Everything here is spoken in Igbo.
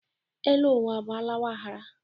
Elu ụwa bụ àlàwa a ghara.